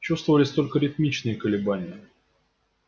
чувствовались только ритмичные колебании